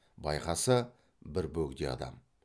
байқаса бір бөгде адам